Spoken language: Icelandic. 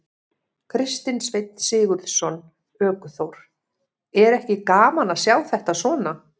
Kristinn Sveinn Sigurðsson, ökuþór: Er ekki gaman að sjá þetta svona?